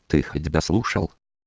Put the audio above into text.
ты хоть дослушал